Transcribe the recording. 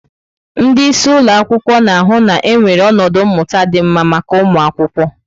Ndị isi ụlọ akwụkwọ na-ahụ na enwere ọnọdụ mmụta dị mma maka ụmụ akwụkwọ.